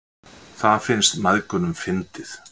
Það finnst mæðgunum fyndið.